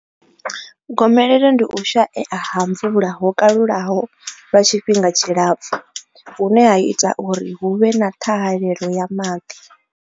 Gomelelo ndi u shaea ha mvula ho kalulaho lwa tshifhinga tshilapfu hune ha ita uri hu vhe na ṱhahalelo ya maḓi.